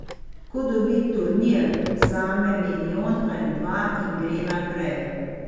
Ko dobi turnir, vzame milijon ali dva in gre naprej.